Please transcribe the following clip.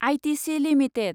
ITC limited